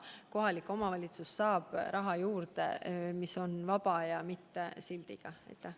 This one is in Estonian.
Kohalik omavalitsus saab juurde raha, mis on vaba ja ilma sildita.